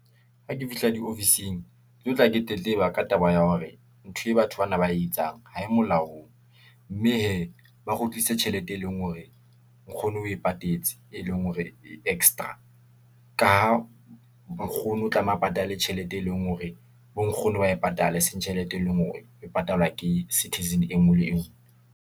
Ha ke fihla di-office-ing, ke tlo tla ke tletleba ka taba ya hore ntho e batho bana ba e etsang, ha e molaong, mme hee , ba kgutlise tjhelete e leng hore nkgono a e patetse, e leng hore e extra. Ka ha nkgoni o tlameha a patale tjhelete, e leng hore bo nkgono ba e patala, eseng tjhelete e leng hore e patalwa ke citizen enngwe le enngwe.